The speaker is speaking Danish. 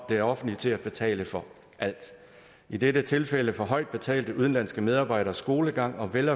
det offentlige til at betale for alt i dette tilfælde for højt betalte udenlandske medarbejderes børn skolegang og vel